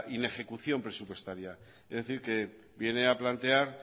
inejecución presupuestaria es decir que viene a plantear